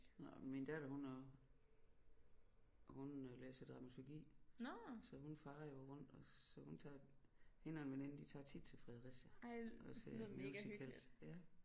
Nåh min datter hun har hun øh læser dramaturgi så hun farer jo rundt og så hun tager hende og en veninde de tager tit til Fredericia og ser musicals ja